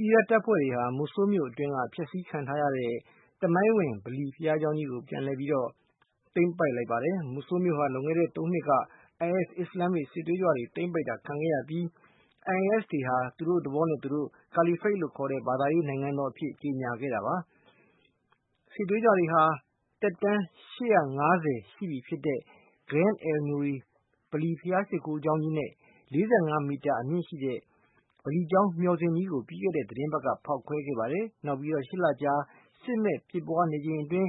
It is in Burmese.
အီရတ် တပ်ဖွဲ့တွေဟာ Mosulမြို့အတွင်းက ဖျက်ဆီးခံထားရတဲ့ သမိုင်းဝင် ဗလီကျောင်းကြီးကို ပြန်လည် သိမ်းပိုက် လိုက်ပါတယ်။ Mosulမြို့ဟာ လွန်ခဲ့တဲ့ သုံးနှစ်က IS အစ္စလာမ်မစ် စစ်သွေးကြွတွေ သိမ်းပိုက်တာ ခံခဲ့ရပြီး၊ IS တွေဟာ သူတို့သဘောနဲ့ သူတို့ ကာလီဖိတ်လို့ ခေါ်တဲ့ ဘာသာရေး နိုင်ငံတော်အဖြစ် ကြေညာခဲ့ကြတာပါ။ စစ်သွေးကြွတွေဟာ သက်တမ်း နှစ် ၈၅၀ ရှိပြီ ဖြစ်တဲ့ Grand al-Nuri ဗလီဘုရား ရှိခိုးကျောင်းကြီး နဲ့ ၄၅ မီတာ အမြင့်ရှိတဲ့ ဗလီကျောင်း မျှော်စင်ကြီးကို ပြီးခဲ့တဲ့ သတင်းပတ်က ဖေါက်ခွဲခဲ့ပါတယ်။ နောက်ပြီး (၈) လကြာ စစ်မက်ဖြစ်ပွားနေချိန်အတွင်း